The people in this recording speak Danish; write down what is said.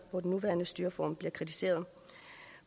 hvor den nuværende styreform bliver kritiseret